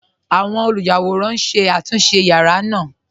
Awọn olúyàwòran n ṣé àtúnṣe yàra naa.